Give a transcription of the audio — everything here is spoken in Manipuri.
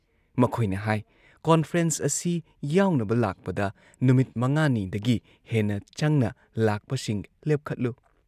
ꯃꯈꯣꯏꯅ ꯍꯥꯏ‑ ꯀꯣꯟꯐ꯭ꯔꯦꯟꯁ ꯑꯁꯤ ꯌꯥꯎꯅꯕ ꯂꯥꯛꯄꯗ ꯅꯨꯃꯤꯠ ꯃꯉꯥꯅꯤꯗꯒꯤ ꯍꯦꯟꯅ ꯆꯪꯅ ꯂꯥꯛꯄꯁꯤꯡ ꯂꯦꯞꯈꯠꯂꯨ ꯫